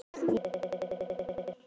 Ég er frá Þýskalandi.